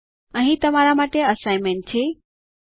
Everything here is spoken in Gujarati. અહીં તમારા માટે અસાઈનમેન્ટ છે